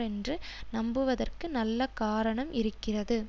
என்று நம்புவதற்கு நல்ல காரணம் இருக்கிறது